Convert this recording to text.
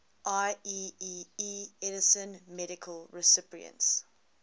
ieee edison medal recipients